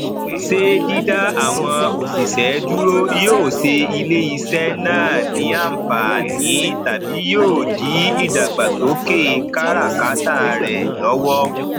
ṣé dídá àwọn òṣìṣẹ dúró yóò ṣe iléiṣẹ náà ní ànfààní tàbí yóò di ìdàgbàsókè kára káta rẹ lọwọ